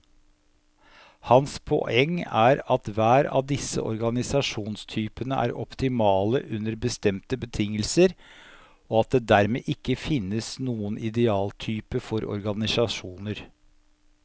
Hans poeng er at hver av disse organisasjonstypene er optimale under bestemte betingelser, og at det dermed ikke finnes noen idealtype for organisasjoner.